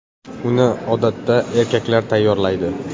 Uni odatda erkaklar tayyorlaydi.